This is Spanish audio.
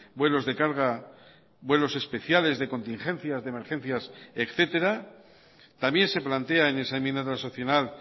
vuelos de carga vuelos especiales de contingencias de emergencias etcétera también se plantea en esa enmienda transaccional